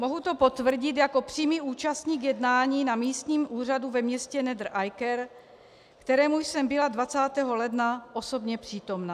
Mohu to potvrdit jako přímý účastník jednání na místním úřadu ve městě Nedre Eiker, kterému jsem byla 20. ledna osobně přítomna.